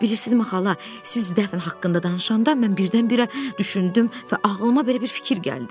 Bilirsizmi xala, siz dəfn haqqında danışanda mən birdən-birə düşündüm və ağlıma belə bir fikir gəldi.